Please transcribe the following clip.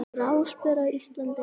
Gráspör á Íslandi